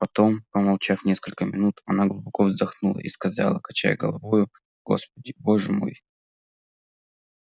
потом помолчав несколько минут она глубоко вздохнула и сказала качая головою господи боже мой